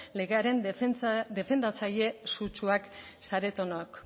legearen defendatzaile sutsuak zaretenok